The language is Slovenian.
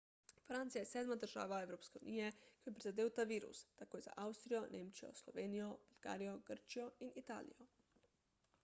francija je sedma država evropske unije ki jo je prizadel ta virus takoj za avstrijo nemčijo slovenijo bolgarijo grčijo in italijo